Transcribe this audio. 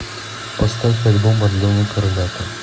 поставь альбом орленок орлята